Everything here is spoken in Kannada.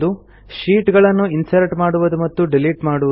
ಶೀಟ್ ಗಳನ್ನು ಇನ್ಸರ್ಟ್ ಮಾಡುವುದು ಮತ್ತು ಡಿಲೀಟ್ ಮಾಡುವುದು